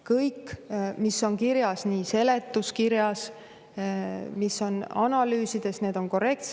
Kõik, mis on kirjas seletuskirjas, mis on analüüsides, on korrektne.